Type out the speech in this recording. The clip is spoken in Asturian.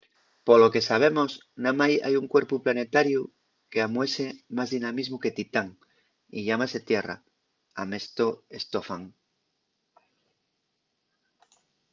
polo que sabemos namái hai un cuerpu planetariu qu’amuese más dinamismu que titán y llámase tierra” amestó stofan